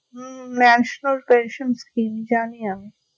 হম national pension scheme জানি আমি